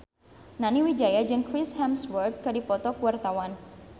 Nani Wijaya jeung Chris Hemsworth keur dipoto ku wartawan